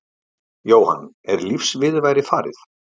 Jóhann: Er lífsviðurværið farið?